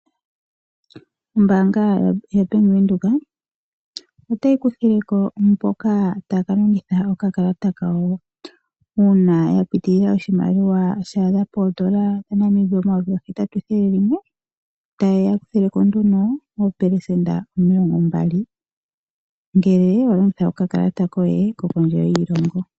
Ombaanga ya Bank Windhoek otayi kuthileko mboka taya ka longitha oka kalata kawo uuna ya pitilila poshimaliwa sha adha oondola dha Namibia omayovi gahetatu nethele limwe taya kuthilwa ko nduno oopelesenda omilongo mbali ngele wa longitha oka kalata koye ko kondje yoshilongo hoka kashangwa visa.